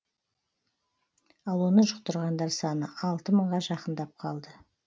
ал оны жұқтырғандар саны алты мыңға жақындап қалды